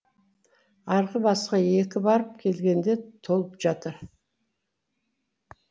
арғы басқа екі барып келгенде толып жатыр